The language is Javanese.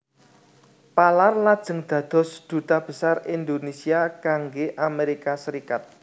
Palar lajeng dados Duta Besar Indonesia kangge Amerika Serikat